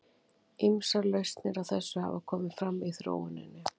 Ýmsar lausnir á þessu hafa komið fram í þróuninni.